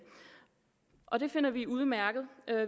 og det finder vi er udmærket